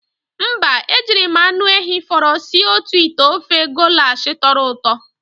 Mba, e jiri m anụ ehi fọrọ sie otu ite ofe golash tọrọ ụtọ.